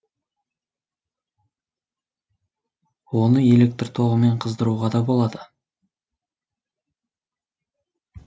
оны электр тоғымен қыздыруға да болады